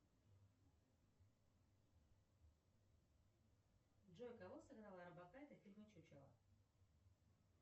джой кого сыграла орбакайте в фильме чучело